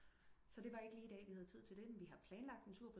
Så det var ikke lige i dag vi have tid til den vi har planlagt en tur